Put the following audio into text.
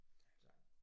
Ja